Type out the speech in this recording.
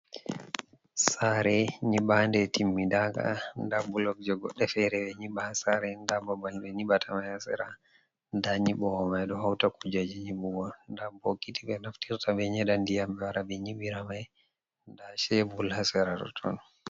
Sare nyiɓanɗe timmiɗaga. nɗa bulog je goɗɗe fere ɓe nyiɓa ha sare. nɗa ɓaɓal ɓe nyiɓatama ha sera. Nɗa nyiɓowo mai ɗo hauta kujeji nyiɓugo. Nɗa bokiti ɓe naftirta ɓe nyeɗa nɗiya ɓe wara ɓe nyiɓira mai. Nɗa cebul ha sera totton.